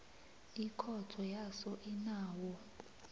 ikhotho yaso inawo